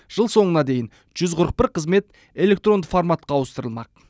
жыл соңына дейін жүз қырық бір қызмет электронды форматқа ауыстырылмақ